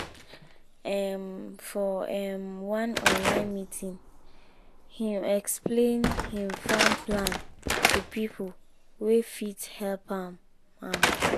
um for um one online meeting him explain him farm plan to people wey fit help am am